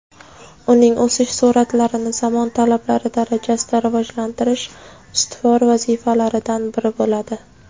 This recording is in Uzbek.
uning o‘sish surʼatlarini zamon talablari darajasida rivojlantirish ustuvor vazifalaridan biri bo‘ladi.